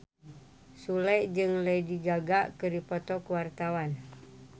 Sule jeung Lady Gaga keur dipoto ku wartawan